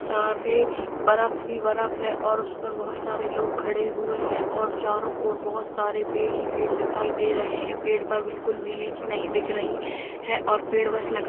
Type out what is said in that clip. सारे बर्फ ही बर्फ है और उस पर बहुत सारे लोग खड़े हुए हैं और चारों और बहुत सारे पेड़ ही पेड़ दिखाई दे रहें हैं पेड़ पर बिल्कुल भी लीव्स नही दिख रहीं हैं और पेड़ बस लकड़ी --